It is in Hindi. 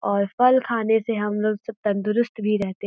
और फल खाने से हम लोग सब तंदरुस्त भी रहते --